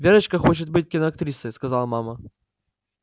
верочка хочет быть киноактрисой сказала мама